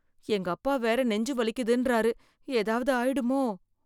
எங்க அப்பா வேற நெஞ்சு வலிக்குதுன்றாரு ஏதாவது ஆயிடுமோ?